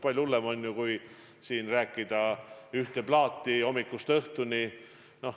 Palju hullem on, kui siin mängida ühte plaati hommikust õhtuni.